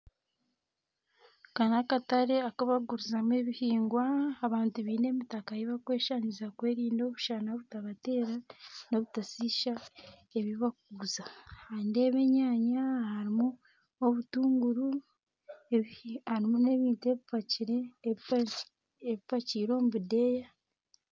Aka n'akatare aku bakugurizamu ebihingwa abantu biine emitaka y'okweshangiza kwerinda omushana gutabateera n'obutashiisha ebi bakuguza nindeeba enyanya harimu obutuunguru harimu n'ebintu epimpakiire omu budeeya.